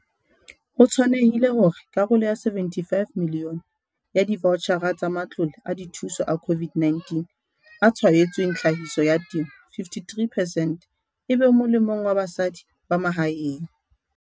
Ho tshwanehile hore karolo ya R75 milione ya divaotjhara tsa matlole a dithuso a COVID-19 a tshwaetsweng tlhahiso ya temo 53 percent e be molemong wa basadi ba mahaeng.